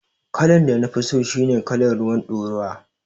Kalan da nafi so shine kalan ruwar ɗoruwa